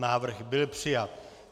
Návrh byl přijat.